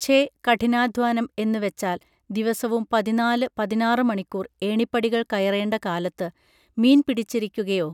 ഛെ കഠിനാധ്വാനം എന്നു വച്ചാൽ ദിവസവും പതിനാല് പതിനാറ് മണിക്കൂർ ഏണിപ്പടികൾ കയറേണ്ട കാലത്ത് മീൻപിടിച്ചിരിക്കുകയോ ?